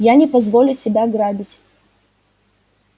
я не позволю себя грабить